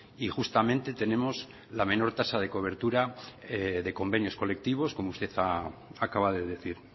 y justamente tenemos la menor tasa de cobertura de convenios colectivos como usted acaba de decir